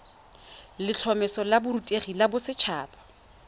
letlhomeso la borutegi la boset